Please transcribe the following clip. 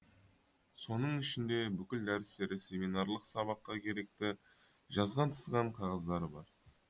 соның ішінде бүкіл дәрістері семинарлық сабаққа керекті жазған сызған қағаздары бар